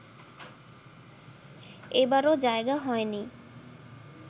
এবারো জায়গা হয়নি